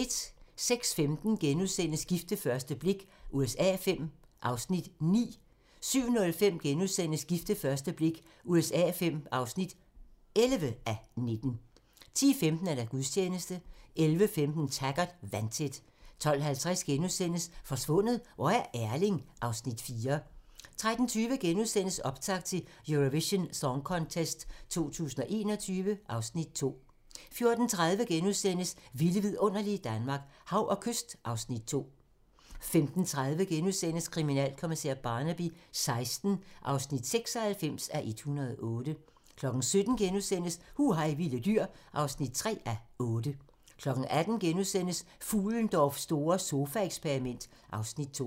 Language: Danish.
06:15: Gift ved første blik USA V (9:19)* 07:05: Gift ved første blik USA V (11:19)* 10:15: Gudstjeneste 11:15: Taggart: Vandtæt 12:50: Forsvundet - hvor er Erling? (Afs. 4)* 13:20: Optakt til Eurovision Song Contest 2021 (Afs. 2)* 14:30: Vilde vidunderlige Danmark - Hav og kyst (Afs. 2)* 15:30: Kriminalkommissær Barnaby XVI (96:108)* 17:00: Hu hej vilde dyr (3:8)* 18:00: Fuhlendorffs store sofaeksperiment (Afs. 2)*